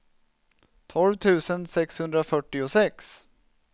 tolv tusen sexhundrafyrtiosex